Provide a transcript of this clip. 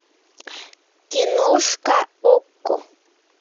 киношка окко